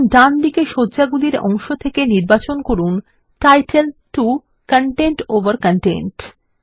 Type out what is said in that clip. এখন ডান দিকে সজ্জাগুলির অংশ থেকে নির্বাচন করুন টাইটেল 2 কনটেন্ট ওভার কনটেন্ট